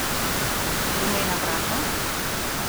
Rumena vrata?